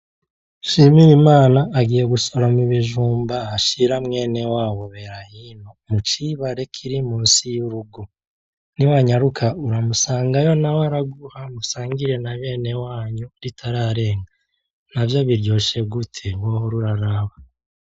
Nshimirimana agiye gusoroma ibijumba ashira mwenewabo Berahino, mucibare kiri musi y'urugo, niwanyaruka uramusangayo nawe araguha musangire nabenewanyu ritararenga, navyo biryoshe gute! Wohor'uraraba.